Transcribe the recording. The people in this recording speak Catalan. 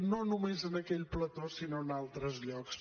no només en aquell plató sinó en altres llocs